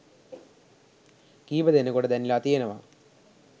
කිහිපදෙනෙකුට දැනිලා තියෙනවා.